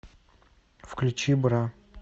включи бра